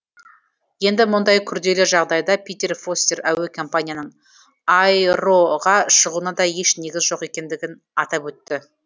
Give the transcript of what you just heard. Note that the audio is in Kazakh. енді мұндай күрделі жағдайда питер фостер әуе компанияның аэро ға шығуына да еш негіз жоқ екендігін атап өтті